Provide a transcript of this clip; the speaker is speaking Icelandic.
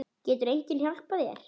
Getur enginn hjálpað þér?